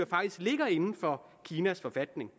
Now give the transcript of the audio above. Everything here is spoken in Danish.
faktisk ligger inden for kinas forfatning